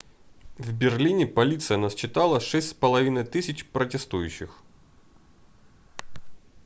в берлине полиция насчитала 6500 протестующих